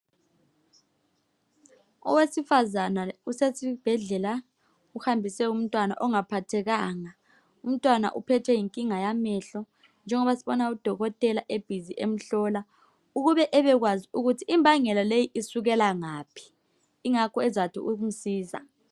Owesifazane usesibhedlela, uhambise umntwana ongaphathekanga. Umntwana uphethwe yinkinga yamehlo njengoba sibona udokotela e"busy" emhlola ukube ebekwazi ukuthi imbangela leyi isukela ngaphi ingakho ezathi ukumsiza.